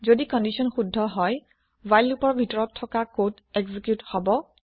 যদি কন্দিচ্যন শুদ্ধ হয় হোৱাইল লোপৰ ভিতৰত থকা কদ এক্জিকিউত হব